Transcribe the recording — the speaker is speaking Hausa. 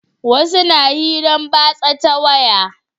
Wasu na hiran batsa ta waya